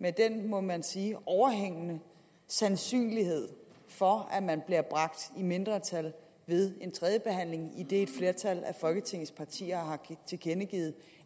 med en må man sige overhængende sandsynlighed for at man bliver bragt i mindretal ved en tredje behandling idet et flertal af folketingets partier har tilkendegivet